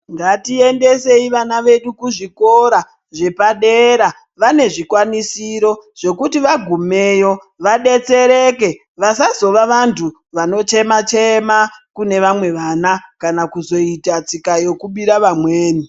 Ngatiendesei vana vedu kuzvikora zvepadera vane zvikwanisiro zvekuti vagumeyo vabetsereke vasazova vantu vanochema-chema, kune vamwe vana. kana kuzoita tsika yokubira vamweni.